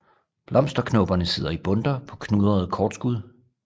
Blomsterknopperne sidder i bundter på knudrede kortskud